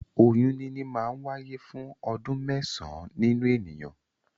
Oyún níní máa ń wáyé fún ọdún mẹ́sàn-án nínu ènìyàn.